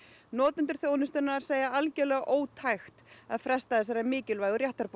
notendur þjónustunnar segja ótækt að fresta þessari mikilvægu réttarbót